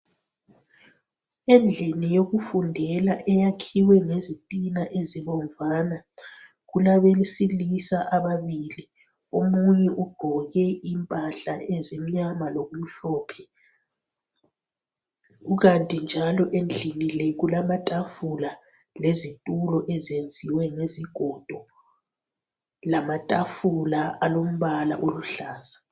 Endlini yokufundela eyakhiwe ngesitina ezibomvana kulabesilisa ababili omunye ugqoke impahla ezimnyama lokumhlophe kukanti njalo endlini le kulamatafula lezitulo ezenziwe ngezigodo lamatafula alombala oluhlaza